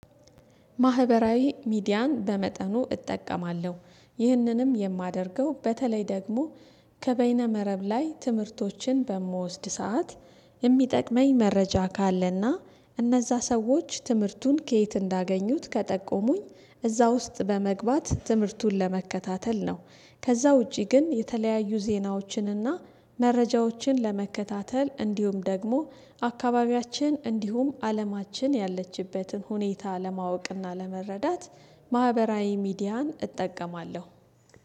ማህበራዊ ሚዲያን በመጠኑ እጠቀማለሁ ይህንንም የማደርገው በተለይ ደግሞ ከበይነ መረብ ላይ ትምህርቶችን በምወስድ ሰዓት የሚጠቅመኝ መረጃ ካለና እነዛ ሰዎች ትምህርቱን ከየት እንዳገኙት ከጠቆሙኝ እዛ ውስጥ በመግባት ትምህርቱን ለመከታተል ነው። ከዛ ውጪ ግን የተለያዩ ዜናዎችን እና መረጃዎችን ለመከታተል እንዲሁም ደግሞ አካባቢያችን እንዲሁም አለማችን ያለችበትን ሁኔታ ለማወቅና ለመረዳት ማህበራዊ ሚዲያን እጠቀማለሁ